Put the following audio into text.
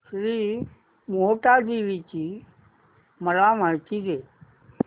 श्री मोहटादेवी ची मला माहिती दे